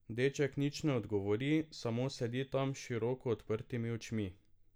Deček nič ne odgovori, samo sedi tam s široko odprtimi očmi.